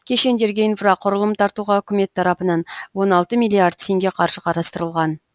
кешендерге инфрақұрылым тартуға үкімет тарапынан он алты миллиард теңге қаржы қарастырылған